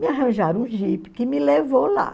Me arranjaram um jipe que me levou lá.